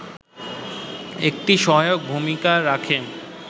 এটি সহায়ক ভূমিকা রাখে